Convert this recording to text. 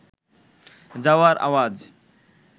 যাওয়ার আওয়াজ